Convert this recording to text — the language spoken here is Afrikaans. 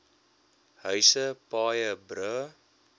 huise paaie brûe